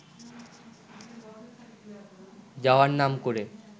যাওয়ার নাম করে